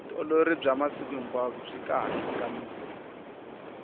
vutiolori bya masiku hinkwao byi kahle ka miri